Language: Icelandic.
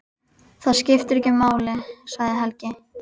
Það skiptir ekki máli, sagði Helgi.